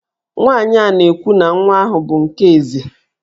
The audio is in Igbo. Nwaanyị a na-ekwu na nwa ahụ bụ nke Eze